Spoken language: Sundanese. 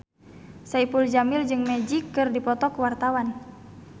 Saipul Jamil jeung Magic keur dipoto ku wartawan